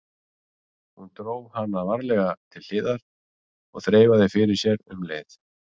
Hún dró hana varlega til hliðar og þreifaði fyrir sér um leið.